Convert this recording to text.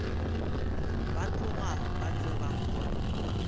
ba tloga ba tseba gore